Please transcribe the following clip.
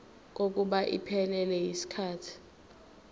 kokuba iphelele yisikhathi